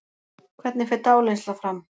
Hvernig fer dáleiðsla fram?